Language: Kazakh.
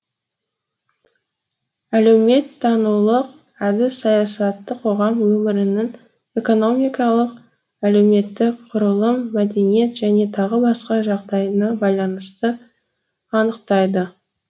әлеуметтанулық әдіс саясатты қоғам өмірінің экономикалық әлеуметтік құрылым мәдениет және тағы басқа жағдайына байланысты анықтайды